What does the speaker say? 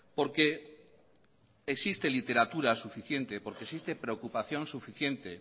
porque existe literatura suficiente porque existe preocupación suficiente